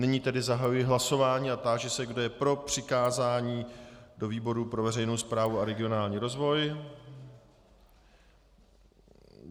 Nyní tedy zahajuji hlasování a táži se, kdo je pro přikázání do výboru pro veřejnou správu a regionální rozvoj.